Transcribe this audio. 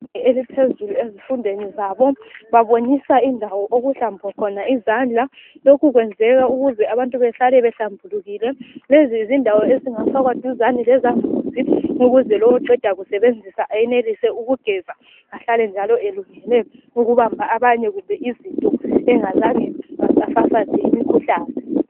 Eliphezulu ezifundweni zabo. Babonisa indawo okuhlambwa khona izandla. Lokhu kwenzelwa ukuze abantu bahlale behlambulukile. Lezi zindawo ezingafakwa eduzane lezambuzi. Ukuze lowo oqeda kusebenzisa enelise ukugeza. Ahlale njalo elungele ukubamba abanye, loba izinto, engazange, wafafaza imikhuhlane.